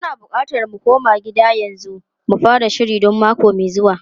Muna bukatar mu koma gida yanzu mu fara shiri don mako mai zuwa.